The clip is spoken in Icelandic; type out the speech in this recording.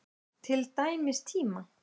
Til dæmis tíma.